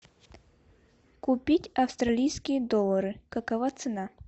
купить австралийские доллары какова цена